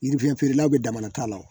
Yirifiyɛn feerelaw bɛ damana ta wo